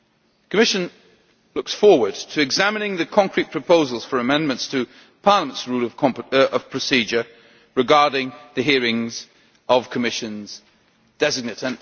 The Commission looks forward to examining the concrete proposals for amendments to Parliament's Rules of Procedure regarding the hearings of Commissioners-designate.